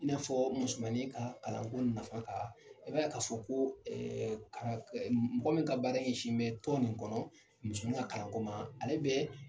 I n'a fɔɔ musomannin kaa kalan ko nafa kaa, i b'a ye ka fɔ koo kaa m mɔgɔ min ka baara yɛsin bɛ tɔn nin kɔnɔ, muso ka kalan ko ma ale bɛ